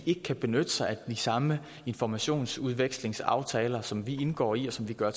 ikke benytte sig af de samme informationsudviklingsaftaler som vi indgår i og som gør